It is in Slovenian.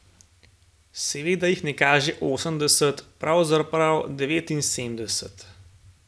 Seveda jih ne kaže osemdeset, pravzaprav devetinsedemdeset.